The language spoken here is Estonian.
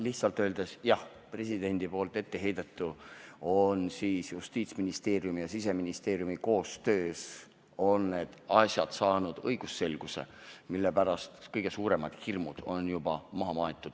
Lihtsalt öeldes jah, presidendi etteheidetu on Justiitsministeeriumi ja Siseministeeriumi koostöös saanud õigusselguse ning kõige suuremad hirmud on juba maha maetud.